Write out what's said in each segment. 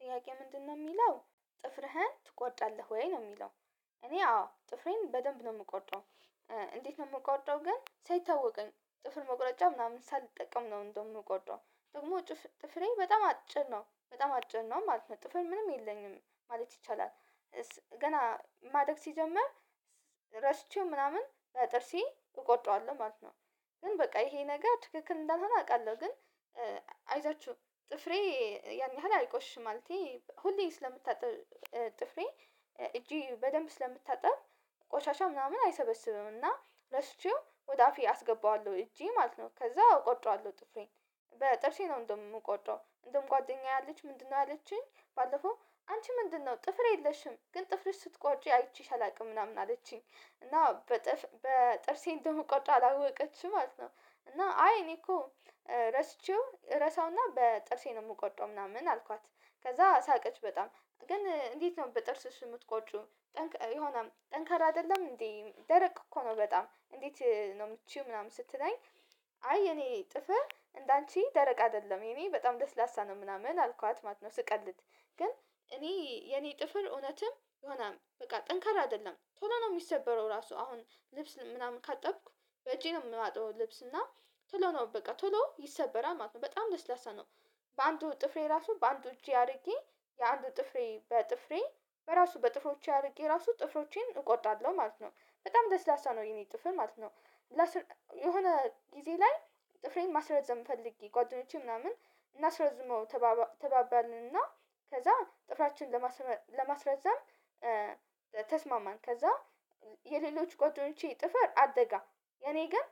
ጥያቄ ምንድነው ሚለው ጥፍርህን ትቆርጣለህ ወይ ነው ሚለው? እኔ አዎ ጥፍሬን በደንብ ነው ምቆርጠው። እንዴት ነው ምቆርጠው ግን ሳይታወቀኝ ጥፍር መቁረጫ ምናምን ሳልጠቀም ነው እንደውም ምቆርጠው ደግሞ ጥፍሬ በጣም አጭር ነው በጣም አጭር ነው ማለት ነው ጥፍር ምንም የለኝም ማለት ይቻላል። ገና ማደግ ሲጀምር ረስቼው ምናምን በጥርሴ እቆርጠዋለሁ ማለት ነው። ግን በቃ ይሄ ነገር ትክክል እንዳልሆነ አውቃለሁ ግን። አይዟችሁ ጥፍሬ ያን ያህል አይቆሽሽም። ማለቴ ሁሌ ስለምታጠብ ጥፍሬ እጄ በደንብ ስለምታጠብ ቆሻሻ ምናምን አይሰበስብምና ረስቼው ወደአፌ አስገባዋለሁ እጄ ማለት ነው ከዛ እቆርጠዋለሁ ጥፍሬን በጥርሴ ነው። እንደውም የምቆርጠው እንደውም ጓደኛዬ አለች ምንድነው ያለችኝ ባለፈው አንቺ ምንድነው ጥፍር የለሽም ግን ጥፍርሽ ስትቆርጪ አይቼሽ አላውቅም ምናምን አለችኝ እና በጥፍ በጥርሴ እንደምቆርጠው አላወቀችም ማለት ነው። እና አይ እኔ እኮ ረስቼው ረሳውና በጥርሴ ነው የምቆርጠው ምናምን አልኳት። ከዛ ሳቀች በጣም ግን እንዴት ነው በጥርስሽ የምትቆርጭው ጠንከ የሆነ ጠንካራ አይደለም እንዴ ደረቅ እኮ ነው በጣም እንዴት ነው ምትችይው ምናምን ስትለኝ? አይ የእኔ ጥፍር እንዳንቺ ደረቅ አይደለም የኔ በጣም ለስላሳ ነው ምናምን አልኳት ማለት ነው። ስቀልድ ግን እኔ የኔ ጥፍር እውነትም የሆነ በቃ ጠንካራ አይደለም ቶሎ ነው የሚሰበረው ራሱ አሁን ልብስ ምናምን ካጠብኩ በእጄ ነው የማጥበው ልብስ እና ቶሎ ነው በቃ ቶሎ ይሰበራል ማለት ነው በጣም ለስላሳ ነው። በአንዱ ጥፍሬ ራሱ በአንዱ እጄ አድርጌ የአንዱ ጥፍሬ በጥፍሬ በራሱ በጥፍሮቼ አድርጌ ራሱ ጥፍሮቼን እቆርጣለሁ ማለት ነው በጣም ለስላሳ ነው የኔ ጥፍር ማለት ነው። የሆነ ጊዜ ላይ ጥፍሬን ማስረዘም ፈልጌ ጓደኞቼ ምናምን እናስረዝመው ተባባልን እና ከዛ ጥፍራችን ለማስረዘም ተስማማን ከዛ የሌሎች ጓደኞቼ ጥፍር አደገ የእኔ ግን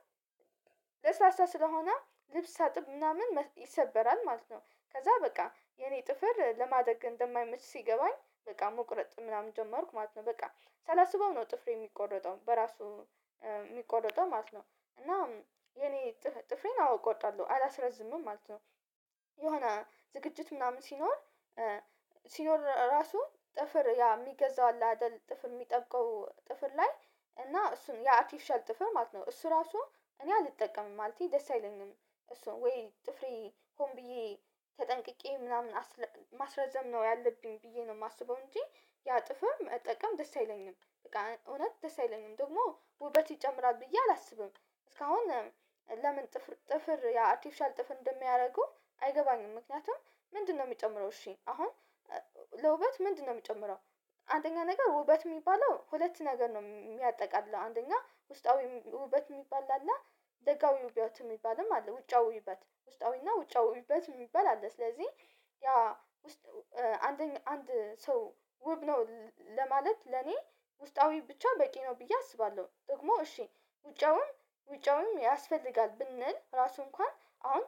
ለስላሳ ስለሆነ ልብስ ሳጥብ ምናምን ይሰበራል ማለት ነው። ከዛ በቃ የኔ ጥፍር ለማደግ እንደማይመች ሲገባኝ በቃ መቁረጥ ምናምን ጀመርኩ ማለት ነው በቃ ሳላስበው ነው ጥፍሬ የሚቆረጠው በራሱ ሚቆረጠው ማለት ነው። እና የኔ ጥፍሬን አው እቆርጣለሁ አላስረዝምም ማለት ነው። የሆነ ዝግጅት ምናምን ሲኖር ሲኖር ራሱ ጥፍር ያ የሚገዛው አለ አይደል ጥፍር የሚጠብቀው ጥፍር ላይ እና እሱን ያ አርተፊሻል ጥፍር ማለት ነው እሱ ራሱ እኔ አልጠቀምም ማለቴ ደስ አይለኝም። እሱን ወይ ጥፍሬ ሆን ብዬ ተጠንቅቄ ምናምን ማስረዘም ነው ያለብኝ ብዬ ነው የማስበው እንጂ ያ ጥፍር መጠቀም ደስ አይለኝም እውነት ደስ አይለኝም ደግሞ ውበት ይጨምራል ብዬ አላስብም። እስካሁን ለምን ጥፍር ጥፍር ያ አርተፊሻል ጥፍር እንደሚያደርጉ አይገባኝም ምክንያቱም ምንድነው የሚጨምረው እሺ አሁን ለውበት ምንድነው የሚጨምረው? አንደኛ ነገር ውበት የሚባለው ሁለት ነገር ነው የሚያጠቃልለው አንደኛ ውስጣዊ ውበት የሚባል አለ ደጋዊ ውበት የሚባልም አለ ውጫዊ ውበት ውስጣዊና ውጫዊ ውበት የሚባል አለ ስለዚህ ያ ውስጥ አንደኛ አንድ ሰው ውብ ነው ለማለት ለኔ ውስጣዊ ብቻ በቂ ነው ብዬ አስባለሁ። ጥቅሙ እሺ ውጫዊም ውጫዊም ያስፈልጋል ብንል ራሱ እንኳን አሁን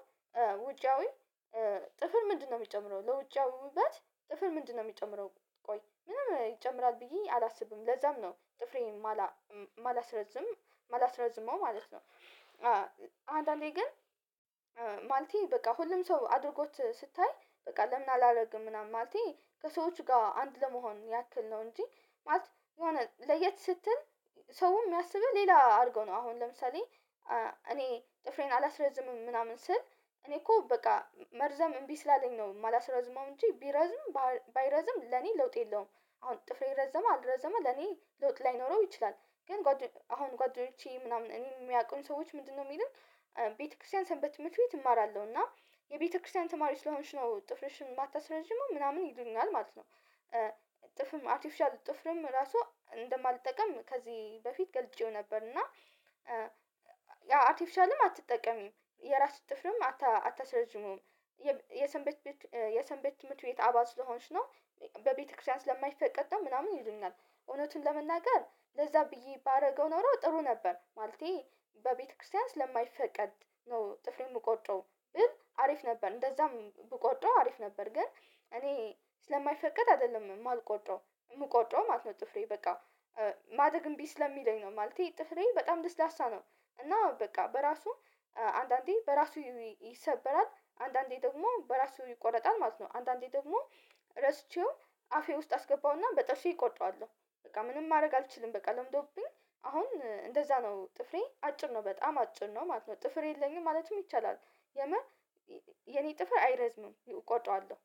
ውጫዊ ጥፍር ምንድነው የሚጨምረው ለውጫዊ ውበት ጥፍር ምንድነው የሚጨምረው? ቆይ ምንም ይጨምራል ብዬ አላስብም ለዛም ነው ጥፍሬን ማላማላስረዝም ማላስረዝመው ማለት ነው። አንዳንዴ ግን ማለቴ በቃ ሁሉም ሰው አድርጎት ስታይ በቃ ለምን አላደርግም ምናምን ማለቴ ከሰዎች ጋር አንድ ለመሆን ያክል ነው እንጂ ማለት የሆነ ለየት ስትል ሰውም የሚያስብህ ሌላ አድርገው ነው አሁን ለምሳሌ እኔ ጥፍሬን አላስረዝምም ምናምን ስል እኔ እኮ በቃ መርዘም እምቢ ስላለኝ ነው የማላስረዝመው እንጂ ቢረዝም ባይረዝም ለኔ ለውጥ የለውም። አሁን ጥፍሬ ረዘመ አልረዘመ ለኔ ለውጥ ላይኖረው ይችላል። ግን አሁን ጓደኞቼ ምናምን እኔ የሚያውቁኝ ሰዎች ምንድነው የሚሉን? ቤተክርስቲያን ሰንበት ትምህርት ቤት እማራለሁ እና የቤተክርስቲያን ተማሪ ስለሆንሽ ነው ጥፍርሽን የማታስረዝሚው ምናምን ይሉኛል ማለት ነው። እጥፍርም አርተፊሻል ጥፍርም ራሱ እንደማልጠቅም ከዚህ በፊት ገልጬው ነበር እና አርተፊሻልም አትጠቀሚም የራስሽ ጥፍርም አታስረዝሚውም የሰንበት የሰንበት ትምህርት ቤት አባል ስለሆንሽ ነው በቤተክርስቲያን ስለማይፈቀድ ነው ምናምን ይሉኛል። እውነቱን ለመናገር ለዛ ብዬ ባደርገው ኖሮ ጥሩ ነበር ማለቴ በቤተክርስቲያን ስለማይፈቀድ ነው ጥፍሬን የምቆርጠው ብል አሪፍ ነበር እንደዛም ብቆርጠው አሪፍ ነበር። ግን እኔ ስለማይፈቀድ አይደለም የማልቆርጠው የምቆርጠው ማለት ነው ጥፍሬ በቃ ማደግ እንቢ ስለሚለኝ ነው ማለቴ ጥፍሬ በጣም ለስላሳ ነው። እና በቃ በራሱ አንዳንዴ በራሱ ይሰበራል አንዳንዴ ደግሞ በራሱ ይቆረጣል ማለት ነው። አንዳንዴ ደግሞ ረስቼው አፌ ውስጥ አስገባውና በጥርሴ እቆርጠዋለሁ። በቃ ምንም ማድረግ አልችልም በቃ ለምዶብኝ አሁን እንደዛ ነው ጥፍሬ አጭር ነው በጣም አጭር ነው ማለት ነው። ጥፍር የለኝም ማለትም ይቻላል የምር የኔ ጥፍር አይረዝምም እቆርጠዋለሁ